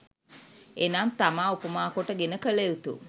එනම්, තමා උපමා කොට ගෙන කළ යුතු,